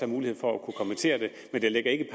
mulighed for at kommentere det men det ligger ikke i